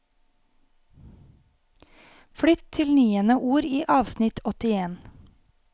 Flytt til niende ord i avsnitt åttien